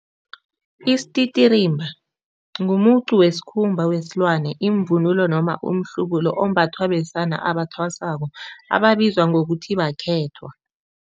Isititirimba ngumuqu wesikhumba wesilwana imvunulo noma umhlubulo ombathwa besana abasathwasako ababizwa ngokuthi bakhethwa.